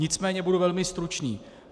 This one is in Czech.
Nicméně budu velmi stručný.